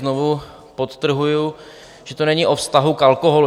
Znovu podtrhuji, že to není o vztahu k alkoholu.